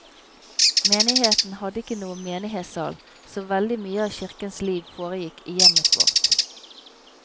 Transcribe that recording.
Menigheten hadde ikke noen menighetssal, så veldig mye av kirkens liv foregikk i hjemmet vårt.